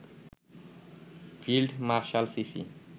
field marshal CC